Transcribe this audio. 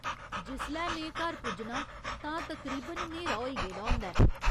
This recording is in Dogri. जिसलै में घर पुज्जनां तां तकरीबन न्हेरा होई गेदा होंदा ऐ।